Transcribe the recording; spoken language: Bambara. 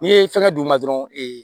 N'i ye fɛngɛ d'u ma dɔrɔn